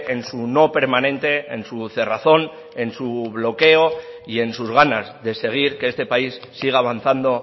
en su no permanente en su cerrazón en su bloqueo y en sus ganas de seguir que este país siga avanzando